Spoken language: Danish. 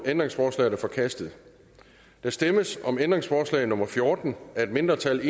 ændringsforslaget er forkastet der stemmes om ændringsforslag nummer fjorten af et mindretal